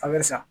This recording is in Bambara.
An bɛ sa